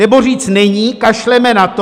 Nebo říct není, kašleme na to?